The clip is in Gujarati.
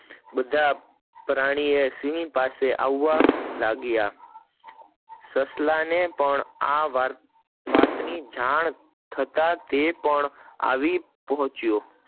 આ બધા પ્રાણીઓ સિંહ પાસે આવવા લાગ્યા, સસલા ને આ વાત ની જાણ થતા તે પણ આવી પોંચ્યો